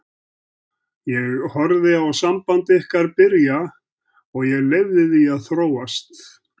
Ég horfði á samband ykkar byrja og ég leyfði því að þróast.